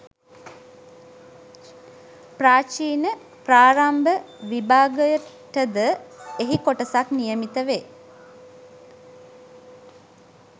ප්‍රාචීන, ප්‍රාරම්භ විභාගයටද එහි කොටසක් නියමිත වේ.